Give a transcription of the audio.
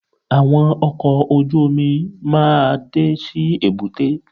Àwọn ọkọ̀ ojú-mi máa dé sí èbúté